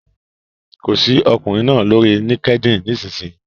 Kọ sí ọkùnrin náà lórí LinkedIn nísinsìnyí!